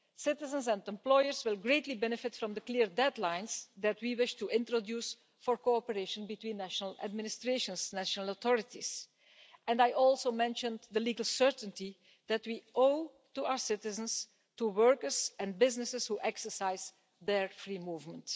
Citizens and employers will greatly benefit from the clear deadlines that we wish to introduce for cooperation between national administrations, national authorities, and I also mentioned the legal certainty that we owe to our citizens, to workers and businesses that exercise their free movement.